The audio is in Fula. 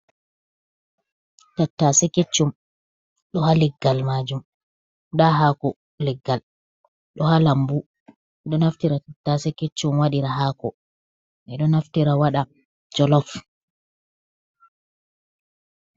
"Tattase keccum" ɗo ha leggal majum da hako leggal ɗo ha lambu ɗo naftira tattase keccum wadira hako ɓe ɗo naftira wada jolof.